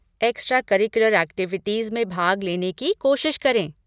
Extracurricular activities में भाग लेने की कोशिश करें।